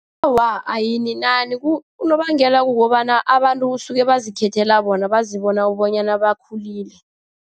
Awa, ayininani. Unobangela kukobana abantu kusuke bazikhethela bona, bazibona bonyana bakhulile.